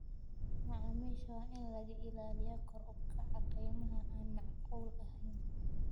Macaamiisha waa in laga ilaaliyaa kor u kaca qiimaha aan macquul ahayn.